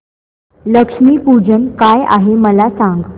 लक्ष्मी पूजन काय आहे मला सांग